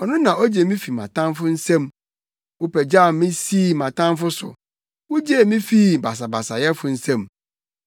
ɔno na ogye me fi mʼatamfo nsam. Wopagyaw me sii mʼatamfo so, wugyee me fii basabasayɛfo nsam.